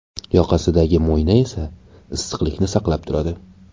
Yoqasidagi mo‘yna esa issiqlikni saqlab turadi.